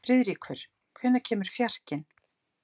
Friðríkur, hvenær kemur fjarkinn?